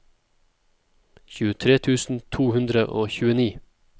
tjuetre tusen to hundre og tjueni